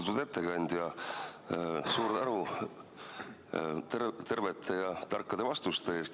Austatud ettekandja, suur tänu tervete ja tarkade vastuste eest!